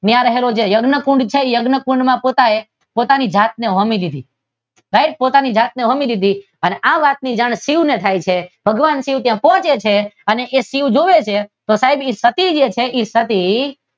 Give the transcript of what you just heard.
ત્યાં રહેલો જે યજ્ઞ કૂંડ છે તે યજ્ઞ કૂંડ માં પોતાએ પોતાને એ પોતાની જાતને હોમી લીધી. સઈ પોતાની જાતને હોમી લીધી આ વાત ની જાણ શિવ ને થાય છે અને ભગવાન શિવ ત્યાં પહોંચે છે અને તે ભગવાન શિવ જોવે છે અને સાબ તે પતિ